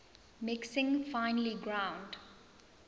mixing finely ground